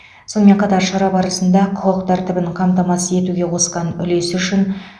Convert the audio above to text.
сонымен қатар шара барысында құқық тәртібін қамтамасыз етуге қосқан үлесі үшін